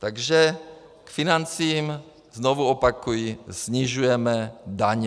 Takže k financím znovu opakuji - snižujeme daně.